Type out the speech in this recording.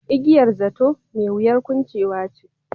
Igiyar zato, mai wuyar kuncewa.